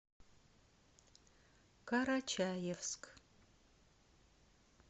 карачаевск